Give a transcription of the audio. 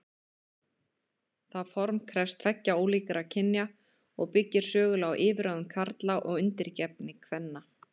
Það form krefst tveggja ólíkra kynja og byggir sögulega á yfirráðum karla og undirgefni kvenna.